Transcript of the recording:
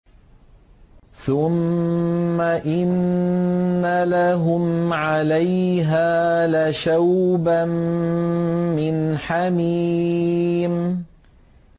ثُمَّ إِنَّ لَهُمْ عَلَيْهَا لَشَوْبًا مِّنْ حَمِيمٍ